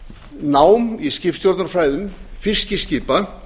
nám í skipstjórnarfræðum fiskiskipa